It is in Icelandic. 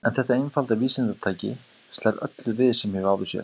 En þetta einfalda vísindatæki slær öllu við sem ég hef áður séð.